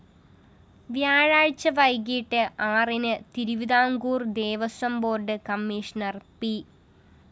വ്യാഴാഴ്ച വൈകിട്ട് ആറിന് Thiruvithamkoor‍ Devaswom board commissioner P